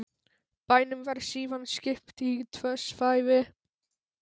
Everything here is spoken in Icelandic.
Bænum var síðan skipt í tvö svæði